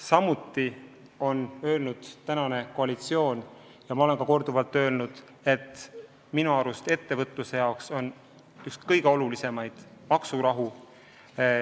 Samuti on koalitsioon öelnud ja minagi olen korduvalt öelnud, et ettevõtjate jaoks on kõige olulisem maksurahu.